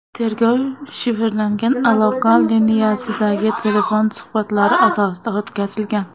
Tergov shifrlangan aloqa liniyasidagi telefon suhbatlari asosida o‘tkazilgan.